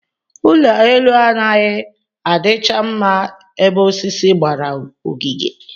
Ụlọelu anaghị adịcha mma ebe osisi gbara ogige